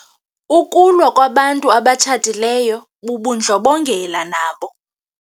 Ukulwa kwabantu abatshatileyo bubundlobongela nabo.